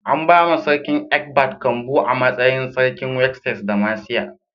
An bawa sarkin Ecbert kambu a matsayin sarkin Wessex da Mercia.